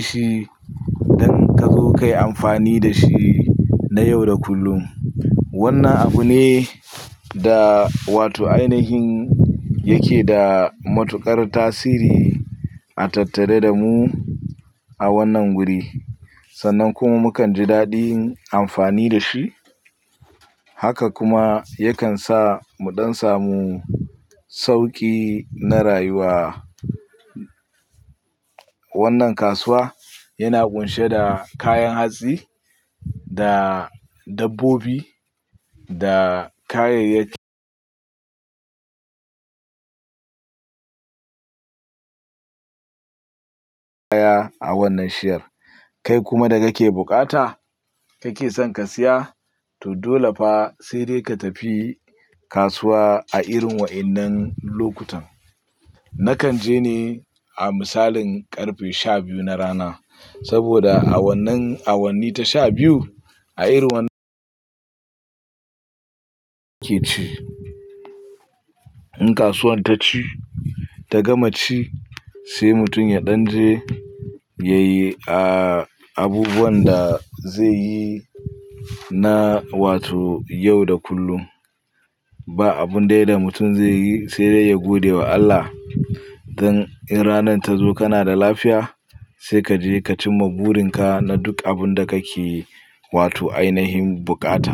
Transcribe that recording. shi don ka zo ka yi amfani da shi na yau da kullum. Wannan abu ne da wato ainihin yake da matuƙar tasiri a tattare da mu a wannan guri, sannan kuma mukan ji daɗin amfani da shi. Haka kuma yakan sa mu ɗan samu sauƙi na rayuwa. Wannan kasuwa yana ƙunshe da kayan hatsi da dabbobi da kayayyaki kaya a wannan shiyar. Kai kuma da kake bukata kake son ka siya to dole fa sai dai ka tafi kasuwa a irin wa'innan lokutan. Nakan je ne a misalin karfe shabiyu na rana, saboda a wannan awanni ta shabiyu a irin wannan ke ci. In kasuwar ta ci ta gama ci sai mutum ya ɗan je ya yi a abubuwan da zai yi na wato yau da kullum. Ba abun dai da mutum zai yi sai dai ya gode wa Allah dan in ranar ta zo kana da lafiya sai kaje ka cimma burin ka na duk abun da kake wato ainihin bukata.